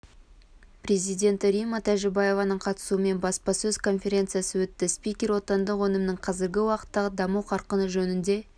президенті римма тәжібаеваның қатысуымен баспасөз конференциясы өтті спикер отандық өнімнің қазіргі уақыттағы даму қарқыны жөнінде